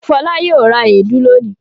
Fọlá yóò ra èédú lónìí.